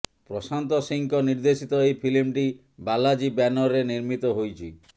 ପ୍ରଶାନ୍ତ ସିଂହଙ୍କ ନିର୍ଦ୍ଦେଶିତ ଏହି ଫିଲ୍ମଟି ବାଲାଜୀ ବ୍ୟାନର୍ରେ ନିର୍ମିତ ହୋଇଛି